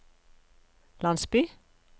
landsby